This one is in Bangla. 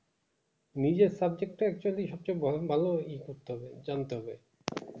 নিজের subject টা actually সবচেয়ে বরং ভালোভাবে ই করতে হবে জানতে হবে